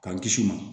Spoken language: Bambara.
K'an kisi u ma